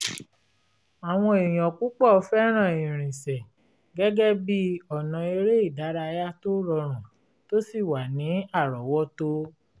àwọn èèyàn púpọ̀ fẹ́ràn ìrìnsẹ̀ gẹ́gẹ́ bí ọ̀nà eré ìdárayá rọrùn tó sì wà ní àrọ́wọ́tó